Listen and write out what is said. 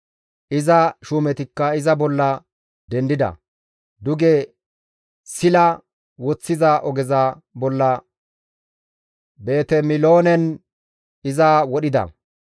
Iza shuumetikka iza bolla dendida; duge Sila woththiza ogeza bolla Betemiloonen iza wodhida.